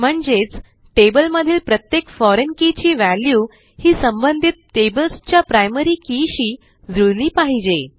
म्हणजेच टेबल मधील प्रत्येक फोरिग्न के ची वॅल्यू ही संबंधित tablesच्या प्रायमरी keyशी जुळली पाहिजे